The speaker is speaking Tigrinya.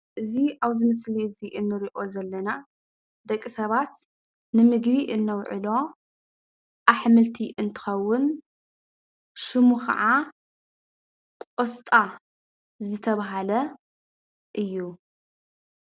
እዚ ኣብዚ ምስሊ እዚ እንሪኦ ዘለና ደቂ ሰባት ንምግቢ ነውዕሎ ኣሕምልቲ እንትኸውን ሽሙ ኸዓ ቆስጣ ዝተባህለ እዩ፡፡